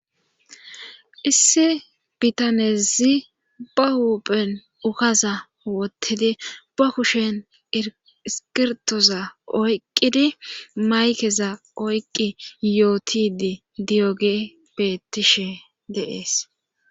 issi bitanezi ba huphen ukaza wottidi ba kushen iskirtoza oyqqidi maykeza oyqqi yootidi diyoge bettishe deees